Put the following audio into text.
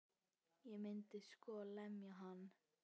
Ég myndi sko lemja hann.